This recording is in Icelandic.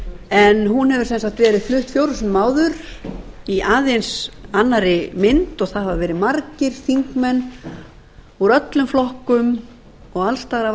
en hún hefur sem sagt verið flutt fjórum sinnum áður í aðeins annarri mynd það hafa verið margir þingmenn úr öllum flokkum og alls staðar af